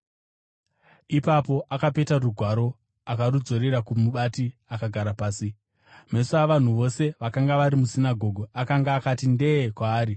Ipapo akapeta rugwaro, akarudzosera kumubati akagara pasi. Meso avanhu vose vakanga vari musinagoge akanga akati nde-e kwaari,